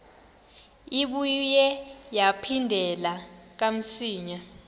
ibuye yaphindela kamsinya